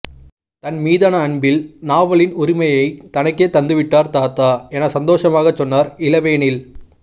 தன் மீதான அன்பில் நாவலின் உரிமையை தனக்கே தந்துவிட்டார் தாத்தா என சந்தோஷமாகச் சொன்னார் இளவேனில்